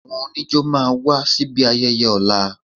Àwọn oníjó máa wá síbi ayẹyẹ ọ̀la